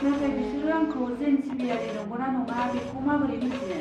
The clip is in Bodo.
नाथाय बिसोरो आंखौ जैन सिबियारि नंगौ ना नङा बेखौ माबोरै मिथिनो?